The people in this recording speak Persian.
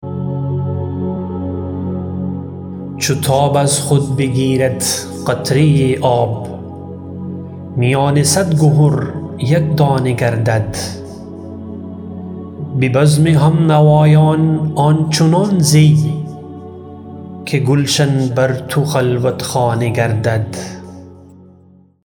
چو تاب از خود بگیرد قطره آب میان صد گهر یک دانه گردد به بزم همنوایان آنچنان زی که گلشن بر تو خلوت خانه گردد